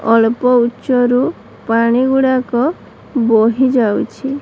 ଅଳ୍ପ ଉଚା ରୁ ପାଣି ଗୁଡାକ ବହି ଯାଉଛି।